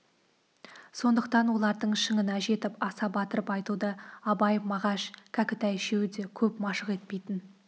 сондықтан олардың шыңына жетіп аса батырып айтуды абай мағаш кәкітай үшеуі де көп машық етпейтін